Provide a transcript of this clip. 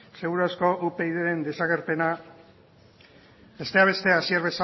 seguru asko upydren desagerpena besteak beste hasier